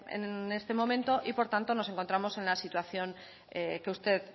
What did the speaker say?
en este momento y por tanto nos encontramos en la situación que usted